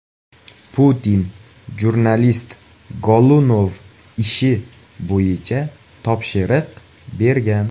Putin jurnalist Golunov ishi bo‘yicha topshiriq bergan.